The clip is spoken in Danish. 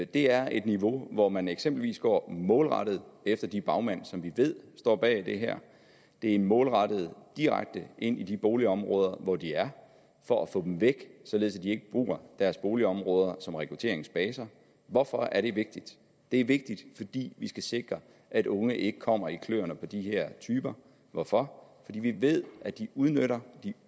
det er et niveau hvor man eksempelvis går målrettet efter de bagmænd som vi ved står bag det her det er målrettet direkte ind i de boligområder hvor de er for at få dem væk således at de ikke bruger deres boligområder som rekrutteringsbaser hvorfor er det vigtigt det er vigtigt fordi vi skal sikre at unge ikke kommer i kløerne på de her typer hvorfor fordi vi ved at de udnytter og